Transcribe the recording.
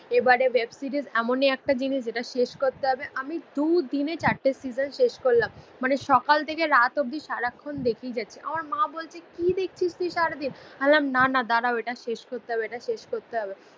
এবারে অয়ে সিরিস এমনই একটা জিনিস যেটা শেষ করতে হবে. আমি দু দিনে চারটে সিসন শেষ করলাম. মানে সকাল থেকে রাত অব্দি সারাক্ষণ দেখেই যাচ্ছে. আমার মা বলছে কি দেখছিস তুই সারাদিন. আমি বললাম না না দাঁড়াও এটা শেষ করতে হবে. এটা শেষ করতে হবে.